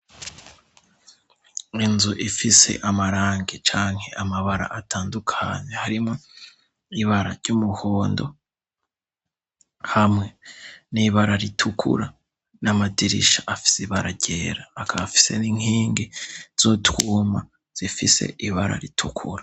Inzu ifise amarange canke amabara atandukanye harimo ibara ry'umuhondo hamwe n'ibara ritukura n'amadirisha afise ibara gera akaafise n'inkingi zo twuma zifise ibara ritukura.